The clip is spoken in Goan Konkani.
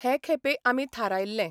हे खेपे आमी थारायल्लें.